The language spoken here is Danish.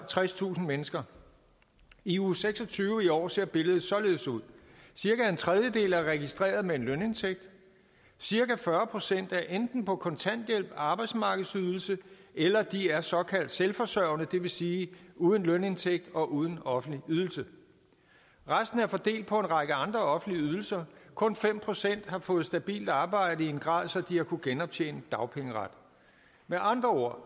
tredstusind mennesker i uge seks og tyve i år ser billedet således ud cirka en tredjedel er registreret med en lønindtægt cirka fyrre procent er enten på kontanthjælp arbejdsmarkedsydelse eller de er såkaldt selvforsørgende det vil sige uden lønindtægt og uden offentlig ydelse resten er fordelt på en række andre offentlige ydelser kun fem procent har fået stabilt arbejde i en grad så de har kunnet genoptjene dagpengeretten med andre ord